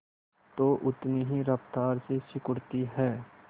तो उतनी ही रफ्तार से सिकुड़ती है